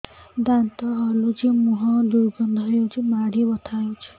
ଦାନ୍ତ ହଲୁଛି ମୁହଁ ଦୁର୍ଗନ୍ଧ ହଉଚି ମାଢି ବଥା ହଉଚି